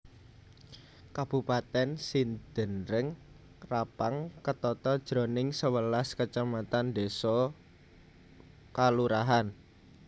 Kabupatèn Sidenreng Rappang ketata jroning sewelas kacamatan désa/kalurahan